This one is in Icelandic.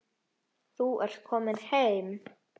Þú ert komin heim.